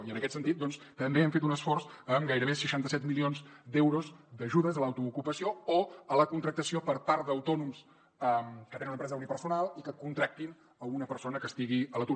i en aquest sentit doncs també hem fet un esforç amb gairebé seixanta set milions d’euros d’ajudes a l’autoocupació o a la contractació per part d’autònoms que tenen una empresa unipersonal i que contractin una persona que estigui a l’atur